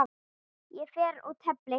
Ég fer og tefli!